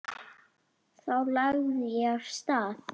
Þá lagði ég af stað.